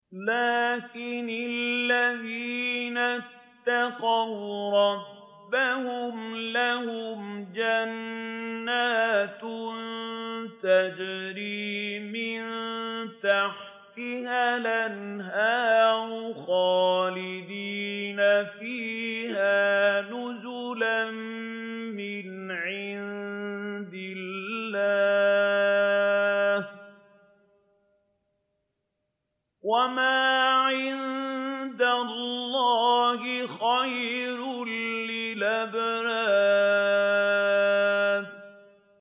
لَٰكِنِ الَّذِينَ اتَّقَوْا رَبَّهُمْ لَهُمْ جَنَّاتٌ تَجْرِي مِن تَحْتِهَا الْأَنْهَارُ خَالِدِينَ فِيهَا نُزُلًا مِّنْ عِندِ اللَّهِ ۗ وَمَا عِندَ اللَّهِ خَيْرٌ لِّلْأَبْرَارِ